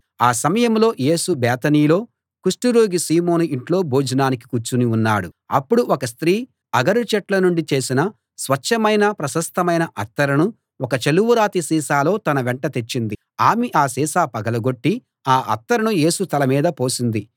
ఆ సమయంలో యేసు బేతనీలో కుష్టురోగి సీమోను ఇంట్లో భోజనానికి కూర్చుని ఉన్నాడు అప్పుడు ఒక స్త్రీ అగరు చెట్ల నుండి చేసిన స్వచ్ఛమైన ప్రశస్తమైన అత్తరును ఒక చలువరాతి సీసాలో తన వెంట తెచ్చింది ఆమె ఆ సీసా పగలగొట్టి ఆ అత్తరును యేసు తల మీద పోసింది